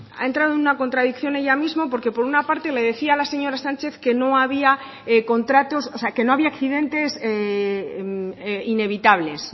ha entrado en una contradicción ella misma porque por una parte le decía a la señora sánchez que no había accidentes inevitables